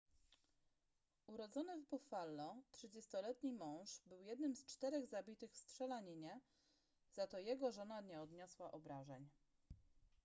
urodzony w buffalo 30-letni mąż był jednym z czterech zabitych w strzelaninie za to jego żona nie odniosła obrażeń